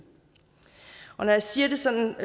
når jeg siger det sådan og